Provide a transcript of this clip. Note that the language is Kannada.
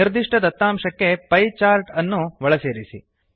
ನಿರ್ದಿಷ್ಟ ದತ್ತಾಂಶಕ್ಕೆ ಪಿಯೆ ಚಾರ್ಟ್ ಅನ್ನು ಒಳ ಸೇರಿಸಿ